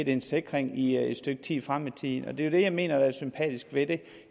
en sikring i et stykke tid frem i tiden det er det jeg mener er sympatisk ved det